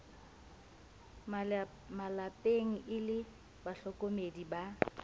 malepeng e le bahlokomedi ba